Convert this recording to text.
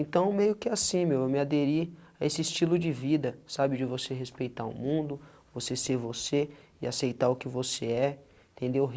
Então meio que assim, meu, eu me aderir a esse estilo de vida, sabe, de você respeitar o mundo, você ser você e aceitar o que você é. Entendeu?